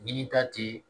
Ɲinita tɛ